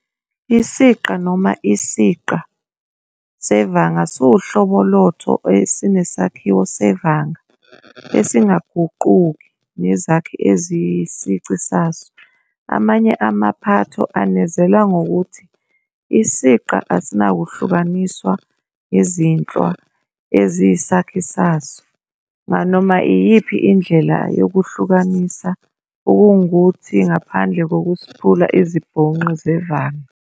Isiqa noma isiqa sevanga siwuhlobo lotho esinesakhiwo sevanga esingaguquki nezakhi eziyisici saso. Amanye amaphatho anezela ngokuthi isiqa asinakuhlukaniswa ngezinhlwa eziyisakhi saso nganoma iyiphi indlela yokuhlukanisa, okungukuthi, ngaphandle kokusiphula izibhonqi zevanga.